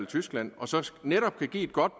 tyskland og så netop kan give et godt